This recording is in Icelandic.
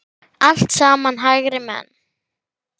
Allt saman hægri menn!